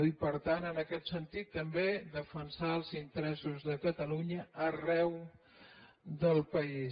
i per tant en aquest sentit també defensar els interessos de catalunya arreu del país